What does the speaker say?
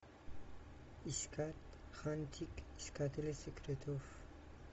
искать хантик искатели секретов